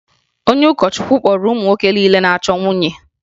Onye ụkọchukwu kpọrọ ụmụ nwoke niile na-achọ nwunye